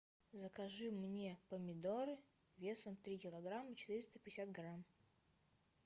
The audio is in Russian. закажи мне помидоры весом три килограмма четыреста пятьдесят грамм